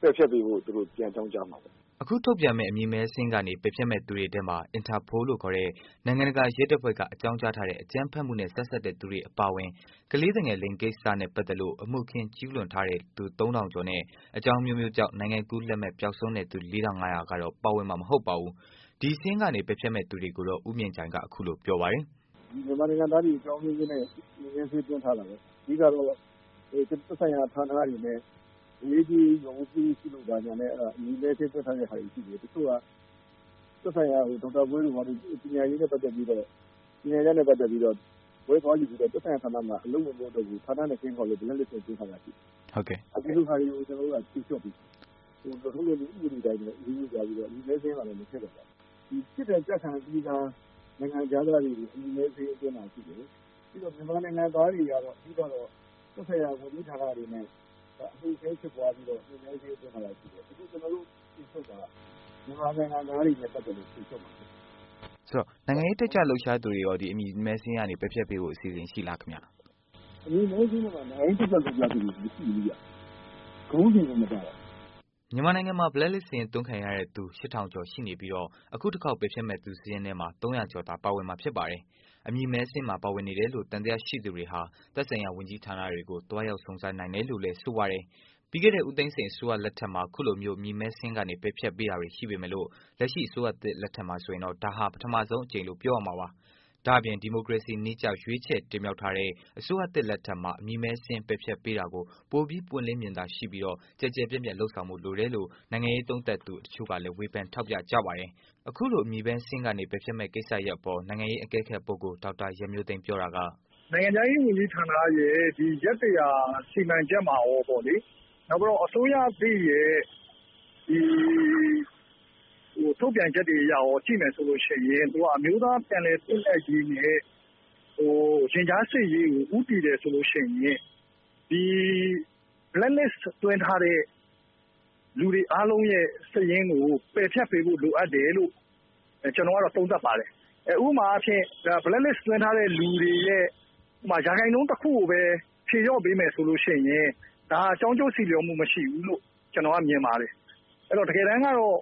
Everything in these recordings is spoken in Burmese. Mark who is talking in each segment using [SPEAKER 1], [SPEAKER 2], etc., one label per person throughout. [SPEAKER 1] ပယ်ဖျက်ပေးဖို့အတွက် သူတို့ ပြန်အကြောင်းကြားမှာပေါ့နော
[SPEAKER 2] ်။” အခု ထုတ်ပြန်မယ့် အမည်မည်းစာရင်းကနေ ပယ်ဖျက်မှု သူတွေထဲမှာ အင်တာပိုလို့ခေါ်တဲ့ နိုင်ငံတကာ ရဲတပ်ဖွဲ့က အကြောင်းကြားထားတဲ့ အကြမ်းဖက်မှုနဲ့ ဆက်စပ်တဲ့ သူတွေအပါအဝင် ကလေးသူငယ်လိင်ကိစ္စနဲ့ ပတ်သတ်လို့ အမှုအခင်း ကျုးလွန်ထားတဲ့ သူ ၃၀၀၀ ထောင်ကျော်နဲ့ အကြောင်းအမျိုးမျိုးကြောင့် နိုင်ငံကူး လက်မှတ် ပျောက်ဆုံးတဲ့ သူ ၄၅၀၀ ကတော့ပါဝင်မှာ မဟုတ်ပါဘူး။ ဒီစာရင်းကနေ ပယ်ဖျက်ပေးမယ့် သူတွေကိုတော့ ဦးမြင့်ကြိုင်က အခုလို ပြောပါတယ်။
[SPEAKER 1] “ဒီမြန်မာနိုင်ငံသားတွေအကြောင်းအမျိုးမျိုးနဲ့ အမည်အမည်းစာရင်းအသွင်းခံရတာပဲ။ အဓိကတော့ သက်ဆိုင်ရာဌာနတွေနဲ့ ငွေရေးကြေးရေး ပြုလုပ်တာနဲ့ အမည်အမည်းစာရင်းအသွင်း သွင်းထားတာတွေရှိသေးတယ်။ တချို့က သက်ဆိုင်ရာတွေ ဒေါက်တာဝင်းတို့ဆိုရင် ပညာရေးနဲ့ပတ်သက်ပြီးတော့ ၊ ပညာရပ်နဲ့ ပတ်သက်ပြီးတော့ ဘွဲ့သွားယူပြီးတော့ သက်ဆိုင်ရာဌာနမှာ အလုပ်ဝင်မလုပ်တော့လို့ Black list လုပ်လိုက်တာတွေရှိတယ်။ အဲလိုဟာတွေကို ကျနော်တို့က ဖြေလျှော့ပေးမယ်။ လုပ်ထုံးလုပ်နည်းဥပဒေအတိုင်းပဲ အရေးယူပြီးတော့ အမည်အမည်းစာရင်းမှာ မထည့်တော့ပါဘူး။ ဒီ ပြစ်ဒဏ် ကျခံပြီးသား နိုင်ငံခြားသားတွေကို အမည်မဲစာရင်းသွင်းတာတွေရှိတယ်။ ပြီးတော့ မြန်မာနိုင်ငံသားတွေကတော့ အဓိကတော့ သက်ဆိုင်ရာ ဝန်ကြီးဌာနတွေနဲ့ အမူအခင်းဖြစ်ပွားပြီးတော့ အမည်မည်းစာရင်း သွင်းတာတွေရှိတယ်။ အခုကျနော်တို့ ဖြေလျှော့တာက မြန်မာနိုင်ငံသားတွေ နဲ့ ပတ်သက်လို့ ဖြေလျှော့မှာဖြစ်ပါတယ်။ မေး
[SPEAKER 2] ။ ။ ဆိုတော့ နိုင်ငံရေးတက်ကြွလှုပ်ရှားသူတွေအတွက် ဒီ အမည်မဲစာရင်းကနေ ပယ်ဖျက်ပေး ဖို့ အစီအစဉ်ရှိသလားခင်ဗျ။ ဖြေ။ ။ အမည်
[SPEAKER 1] မည်းစာရင်းမှာ နိုင်င
[SPEAKER 2] ံရေးတက်ကြွလှုပ်ရှားသူတွေ မရှ
[SPEAKER 1] ိဘူးခင်ဗျ။ ခေါင်းစဉ်ကိုမပါတာ။
[SPEAKER 2] ” မြန်မာနိုင်ငံမှာ Black List စာရင်းသွင်းခံထားရတဲ့သူ ၈၀၀၀ ထောင်ကျော်ရှိနေပြီး အခုတစ်ခေါက် ပယ်ဖျက်မယ့် စာရင်းမှာ ၃၀၀ ကျော် သာ ပါဝင်မှာ ဖြစ်ပါတယ်။ အမည်မည်းစာရင်းမှာ ပါဝင်နေတယ်လို့ သံသယရှိသူတွေဟာ သက်ဆိုင်ရာ ဝန်ကြီးဌာနတွေကို သွားရောက်စုံစမ်းနိုင်တယ်လို့လည်း ဆိုပါတယ်။ ပြီးခဲ့တဲ့ ဦးသိန်းစိန် အစိုးရ လက်ထက်မှာ အခုလိုမျိုး အမည်မည်းစာရင်းကနေ ပယ်ဖျက်ပေးတာတွေ ရှိပေမယ့် လက်ရှိ အစိုးရသစ်လက်ထက်မှာဆိုရင် ဒါဟာ ပထမဆုံးအကြိမ်လို့ ပြောရမှာပါ။ ဒါ့အပြင် ဒီမိုကရေစီ နည်းကျ ရွေးချယ် တင်မြှောက်ထားတဲ့ အစိုးရသစ်လက်ထက်မှာ အမည်မည်းစာရင်း ပယ်ဖျက်ပေးတာကို ပိုပြီး ပွင့်လင်းမြင်သာမှု ရှိပြီး ကျယ်ကျယ်ပြန့်ပြန့် လုပ်ဆောင်ဖို့ လိုတယ်လို့ နိုင်ငံရေး သုံးသပ်သူ တစ်ချို့ကလည်း ထောက်ပြပြောဆိုကြပါတယ်။ အခုလို အမည်မည်းစာရင်းကနေ ပယ်ဖျက်မယ့် ကိစ္စရပ်အပေါ် နိုင်ငံရေး အကဲခတ် ပုဂ္ဂိုလ် ဒေါက်တာ ရန်မျိုးသိမ်းပြောတာက
[SPEAKER 3] “နိုင်ငံခြားရေးဝန်ကြီးဌာနရဲ့ ရက် ၁၀၀ စီမံချက်မှာကောပေါ့လေ နောက်ပြီးတော့ အစိုးရအသစ်ရဲ့ ထုတ်ပြန်ချက်တွေအရကော ကြည့်မယ်ဆိုရင် သူက အမျိုးသားပြန်လည်သင့်မြတ်ရေးနဲ့ ရင်ကြားစေ့ရေးကို ဦးတည်တယ်ဆိုရင် ဒီ Black list သွင်းထားတဲ့ လူတွေအားလုံးရဲ့ စာရင်းကို ပယ်ဖျက်ပေးဖို့ လိုအပ်တယ်လို့ ကျနော်ကတော့ သုံးသပ်ပါတယ်။ ဥပမာအားဖြင့် Black list သွင်းထားတဲ့လူတွေရဲ့ ရာခိုင်နှုန်းတချို့ကိုပဲ ဖြေလျှော့ပေးမယ်ဆိုရင် ဒါကျိုးကြောင်းစီလျှော်မှုမရှိဘူးလို့ ကျနော်ကမြင်ပါတယ်။အဲဒီတော့ တကယ်တန်းကတော့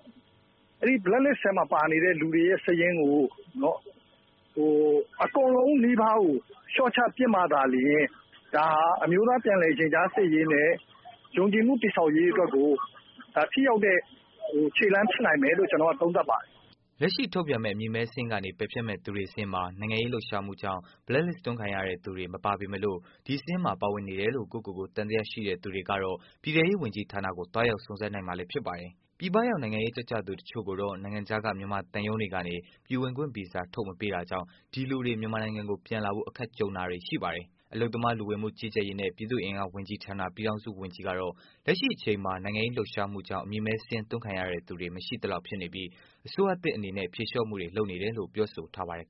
[SPEAKER 3] Black list ထဲမှာ ပါနေတဲ့ လူတွေရဲ့စာရင်းကို အကုန်လုံးနီးပါးကို လျှော့ချပစ်မှသာလျှင် ဒါဟာ အမျိုးသားပြန်လည် ရင်ကြားစေ့ရေးနဲ့ ယုံကြည်မှုတည်ဆောက်ရေးကို ထိရောက်တဲ့ ခြေလှမ်းဖြစ်နိုင်တယ်လို့ ကျနော်သုံးသပ်ပါတယ်။
[SPEAKER 2] ” လက်ရှိ ထုတ်ပြန်မယ့် အမည်မည်းစာရင်းက ပယ်ဖျက်မယ့် သူတွေ စာရင်းမှာ နိုင်ငံရေး လှုပ်ရှားမှုကြောင့် black list သွင်းခံရသူတွေ မပါပေမယ့်လို့ ဒီစာရင်းထဲမှာ ပါနေတယ်လို့ ကိုယ့်ကိုယ်ကိုယ် သံသယ ရှိသူတွေကတော့ ပြည်ထဲရေး ဝန်ကြီးဌာနကို သွားရောက် စုံစမ်းနိုင်မှာလည်း ဖြစ်ပါတယ်။ ပြည်ပရောက် နိုင်ငံရေးတတ်ကြွလှုပ်ရှားသူအချို့ကိုတော့ နိုင်ငံခြားက မြန်မာသံရုံးတွေကနေ ပြည်ဝင်ခွင့်ဗီဇာထုတ်မပေးတာကြောင့် ဒီလူတွေ မြန်မာနိုင်ငံကို ပြန်လာဖို့ အခက်ကြုံတာတွေရှိနေပါတယ်။ အလုပ်သမား လူဝင်မှု ကြီးကြပ်ရေး နဲ့ ပြည်သူ့အင်အား ဝန်ကြီးဌာန ပြည်ထောင်စု ဝန်ကြီးကတော့ လက်ရှိအချိန်မှာ နိုင်ငံရေး လုပ်ရှားမှုကြောင့် အမည်မည်းစာရင်းသွင်းခံရသူတွေ မရှိသလောက် ဖြစ်နေပြီး အစိုးရသစ်အနေနဲ့လည်း ဖြေလျော့မှုတွေ လုပ်နေတယ်လို့ ပြောဆိုထားပါတယ်